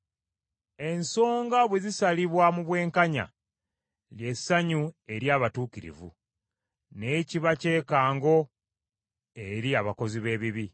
Ensonga bwe zisalibwa mu bwenkanya, lye ssanyu eri abatuukirivu, naye kiba kyekango eri abakozi b’ebibi.